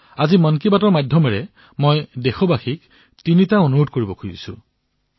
আজি মন কী বাতৰ জৰিয়তে মই দেশবাসীসকলত ৩টা অনুৰোধ কৰিছো